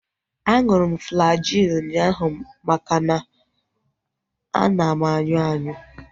Aṅụrụ m Flagyl ụnyaahụ makana ana m anyụ anyụ